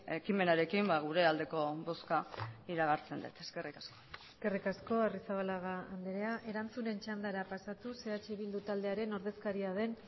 ekimenarekin gure aldeko bozka iragartzen dut eskerrik asko eskerrik asko arrizabalaga andrea erantzunen txandara pasatuz eh bildu taldearen ordezkaria den